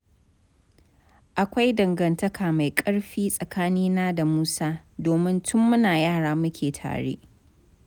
Akwai dangantaka mai ƙarfi tsakanina da Musa, domin tun muna yara muke tare.